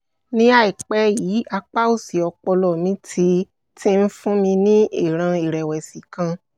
mo ní ìsoríkó ẹ̀jẹ̀ tó ga ga nígbà míì àmọ́ ojú mi máa ń dí dí